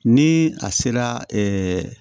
Ni a sera